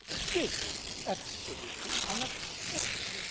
This is absolutely unacceptable.